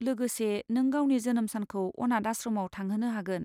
लोगोसे, नों गावनि जोनोम सानखौ अनाथ आश्रमआव थांहोनो हागोन।